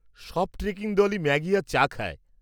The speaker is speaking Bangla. সব ট্রেকিং দলই ম্যাগি আর চা খায়।